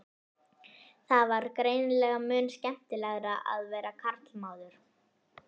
Það var greinilega mun skemmtilegra að vera karlmaður.